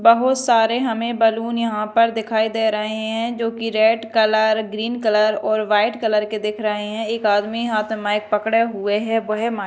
बहोत सारे हमें बलून यहां पर दिखाई दे रहे हैं जो की रेड कलर ग्रीन कलर और व्हाइट कलर के देख रहे हैं एक आदमी हाथ माइक पकड़े हुए हैं वो है मा--